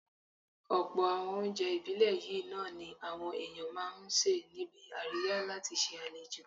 Ọ̀pọ̀ àwọn oúnjẹ ìbílẹ̀ yìí náà ni àwọn èèyàn máa ń sè níbi àríyá láti ṣe àlejò